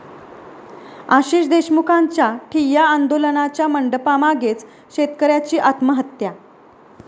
आशिष देशमुखांच्या ठिय्या आंदोलनाच्या मंडपामागेच शेतकऱ्याची आत्महत्या